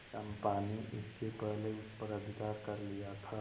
चंपा ने इसके पहले उस पर अधिकार कर लिया था